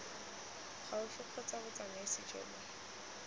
gaufi kgotsa botsamaisi jo bo